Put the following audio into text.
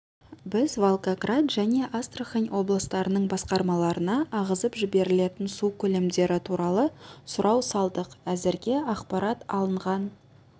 біз волгоград және астрахань облыстарының басқармаларына ағызып жіберілетін су көлемдері туралы сұрау салдық әзірге ақпарат алынған